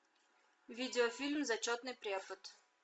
видеофильм зачетный препод